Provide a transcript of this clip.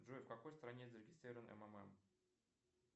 джой в какой стране зарегистрирован ммм